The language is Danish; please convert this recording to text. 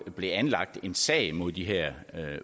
blev anlagt en sag mod de her